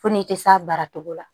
Fo n'i tɛ s'a baara cogo la